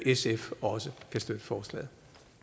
sf også kan støtte forslaget